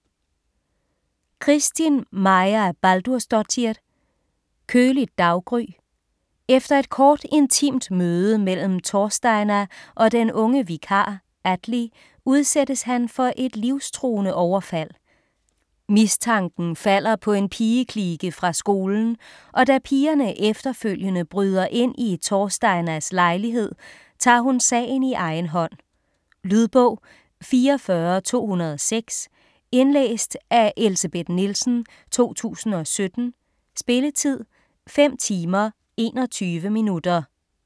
Kristín Marja Baldursdóttir: Køligt daggry Efter et kort, intimt møde mellem Thorsteina og den unge vikar Atli, udsættes han for et livstruende overfald. Mistanken falder på en pigeklike fra skolen, og da pigerne efterfølgende bryder ind i Thorsteinas lejlighed, tager hun sagen i egen hånd. Lydbog 44206 Indlæst af Elsebeth Nielsen, 2017. Spilletid: 5 timer, 21 minutter.